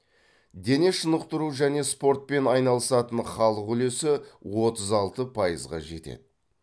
дене шынықтыру және спортпен айналысатын халық үлесі отыз алты пайызға жетеді